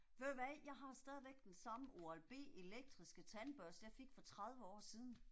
Ved du hvad, jeg har stadig den samme Oral-B elektriske tandbørste jeg fik for 30 år siden